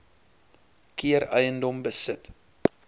keer eiendom besit